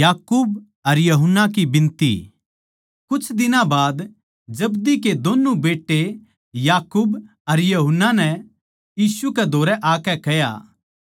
वे मेरा मजाक उड़ावैगें मेरै पै थूकैगें मेरै कोरड़े मारैगें अर मन्नै मार देवैगें अर तीसरे दिन मै जिन्दा होज्यगा